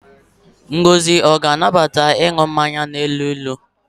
Ngozi ọ ga-anabata ịnụ mmanya na-elu ilu?